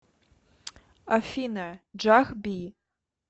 афина джах би